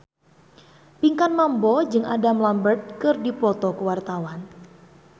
Pinkan Mambo jeung Adam Lambert keur dipoto ku wartawan